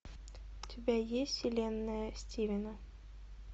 у тебя есть вселенная стивена